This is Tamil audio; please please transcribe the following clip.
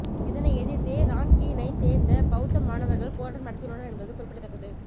இதனை எதிர்த்தே ரான்கீனைச் சேர்ந்த பௌத்த மாணவர்கள் போராட்டம் நடத்தியுள்ளனர் என்பது குறிப்பிடத்தக்கது